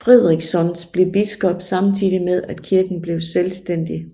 Fríðriksson blev biskop samtidig med at kirken blev selvstændig